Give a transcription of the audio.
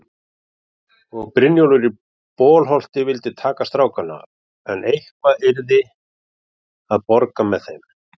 Og Brynjólfur í Bolholti vildi taka strákana, en eitthvað yrði að borga með þeim.